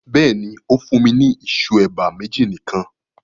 Bẹ́ẹ̀ni, o fùn mi ni ìṣu eba meji nikan